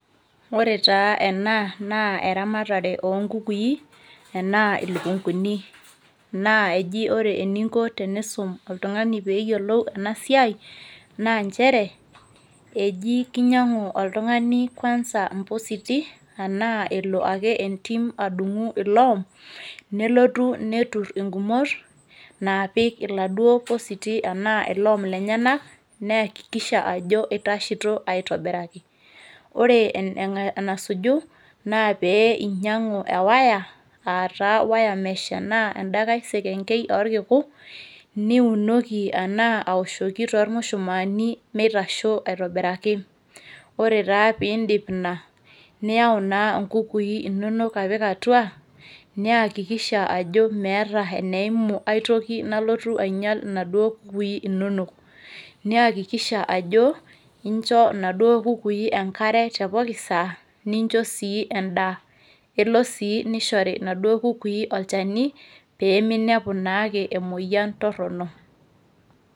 Ore taa ena naa eramatare oonkukui enaa ilukunguni naa eji ore eninko teniisum oltung'ani pee eyiolou ena siai naa nchere eji kinyinag'u oltung'ani kwanza imposti ashu elo ake adung'u iloom nelotu aturr inkumot naapik irpositi ashu iloom lenyenak niakikisha ajo itasheito aitobiraki, ore enasuju naa pee inying'u e wire aa taa wiremesh arashu enaa enda nkai sekengei orkiku niunoki enaa aoshoki tormushumaani mitasho aitobiraki. Ore taa pee indip ina yau naa nkukui inonok apik atua niakikisha ajo meeta eneimu ai toki nalotu ainyial inaduo kukui inonok niakikisha ajo incho inaduo kukui inonok enkare tepooki saa nincho sii endaa elo sii nishori nena kukui olchani pee minepu naake emoyian torrono.